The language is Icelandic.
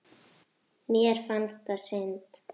Mér fannst það synd.